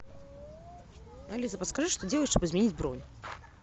алиса подскажи что сделать чтобы изменить бронь